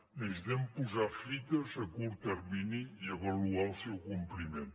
necessitem posar fites a curt termini i avaluar el seu compliment